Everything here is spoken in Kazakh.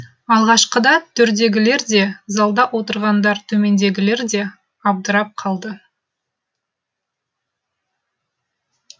алғашқыда төрдегілер де залда отырған төмендегілер де абдырап қалды